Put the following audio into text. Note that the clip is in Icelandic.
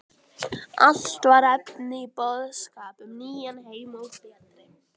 Allt var efni í boðskap um nýjan heim og betri